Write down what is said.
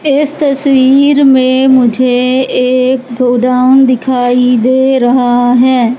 इस तस्वीर में मुझे एक गोडाउन दिखाई दे रहा है।